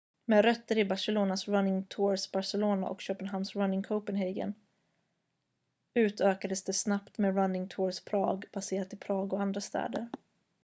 "med rötter i barcelonas "running tours barcelona" och köpenhamns "running copenhagen" utökades det snabbt med "running tours prague" baserat i prag och andra städer.